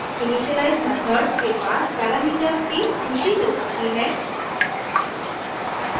initialise method के पास parameters की सूची हो सकती है